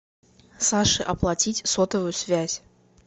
саше оплатить сотовую связь